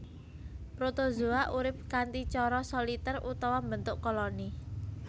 Protozoa urip kanthi cara solitèr utawa mbentuk koloni